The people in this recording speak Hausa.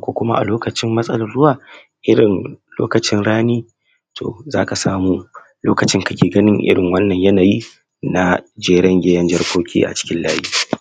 ko ciwon hunhu ciwon sikila ciwon ƙoda ciwon zuciya d kuma ciwon suga riga kafin ciwon san ƙarau yana kare yara ne daga cutan sanƙarau yana kare su daga hassada kunburin ƙwaƙolwa yanada matuƙan mahimmanci musamma yara masu sikila ciwon sida raunin garkuwan jiki saka makon maguguna ciwon ƙoda, riga kafin ciwon riga kafin ciwon ciwon haifa tayi tis yana kariya dag ciwon yana bada kariya daga ciwon hanta wanda be iya haddasa matsala me tsanani ga yara masu raunin garkuwan jiki ana badashi ne tin daga haihuwa sannan asake a wata shiida da kuma shekara ɗaya riga kafin ciwon hanta wato eh yana hana cuta dake shafar hanta kuma yana hana yaɗuwan cuta ta hanya abinci da kuma ruwa sha ana badashi ga yara masu ciwon hanta da kuma ciwon sikila da ciwon shan inna wannan ana bada shine idan yara suna wata shida wata goma da wata sha huɗu sannan kuma ana iyayin karin alluran bayan shekara huɗu zuwa shida riga kafin ciwon tari yana hana irinsu te te nos da kuma tarin fuƙa anaba dashi tun yara suna jarire tun daga wata shidda ana sake yinsu a shekara shida zuwa sha biyu yara masu, yara masu cutaye da kullun suna buƙatan riga kafi na musamma da karesu daga cututtuka masu hatsari yara da riga kafi yana hana ciwon hunhu ciwon sanƙarau ciwon shan inna da kuma sauransu da kuma sauran cututtuka da zasu iya haddasa masu matsala me tsaunani iyaye su tabbatar sunkai yaransu wurin riga kafi da wuri damun guje kamuwa